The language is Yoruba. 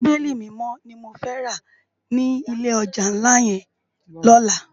Bibéli Mimò ni mó fè rá ni ilé òjá nlá yèn lòlá